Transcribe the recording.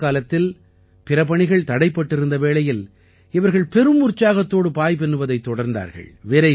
corona காலத்தில் பிற பணிகள் தடைப்பட்டிருந்த வேளையில் இவர்கள் பெரும் உற்சாகத்தோடு பாய் பின்னுவதைத் தொடர்ந்தார்கள்